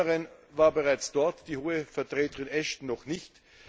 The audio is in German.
Cameron war bereits dort, die Hohe Vertreterin Ashton noch nicht.